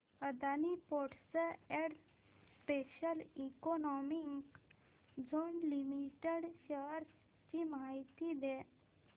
Adani ports and special economic zone limited shares ची माहिती द्या